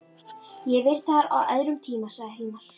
Ég hef verið þar á öðrum tíma, sagði Hilmar.